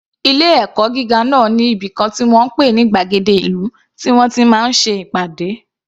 Ilé ẹ̀kọ́ gíga náà ní ibìkan tí wọ́n ń pè ní gbàgéde ìlú tí wọ́n ti máa ń ṣe ìpàdé.